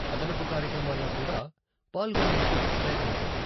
అదనపు కార్యక్రమాల్లో కూడా పాల్గొనేందుకు ప్రయత్నించండి.